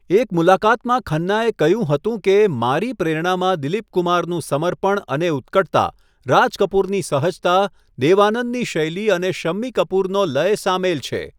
એક મુલાકાતમાં ખન્નાએ કહ્યું હતું કે, 'મારી પ્રેરણામાં દિલીપ કુમારનું સમર્પણ અને ઉત્કટતા, રાજ કપૂરની સહજતા, દેવ આનંદની શૈલી અને શમ્મી કપૂરનો લય સામેલ છે.